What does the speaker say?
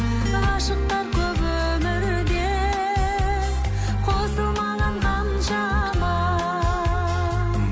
ғашықтар көп өмірде қосылмаған қаншама